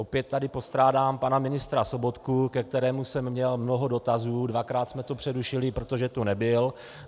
Opět tady postrádám pana ministra Sobotku, ke kterému jsem měl mnoho dotazů, dvakrát jsme to přerušili, protože tu nebyl.